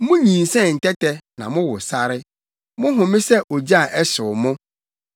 Munyinsɛn ntɛtɛ, na mowo sare; mo home yɛ ogya a ɛhyew mo.